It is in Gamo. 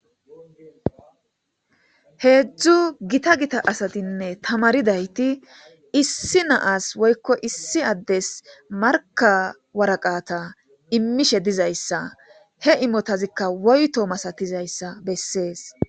heedzdzu gita gita asatinne tamaridayti issi naas woykko issi addes marka waraqata immishe dizayssa he imotazikka woyto masatizayssa bessees